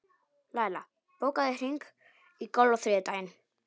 Laila, bókaðu hring í golf á þriðjudaginn.